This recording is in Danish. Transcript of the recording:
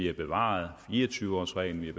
har bevaret fire og tyve års reglen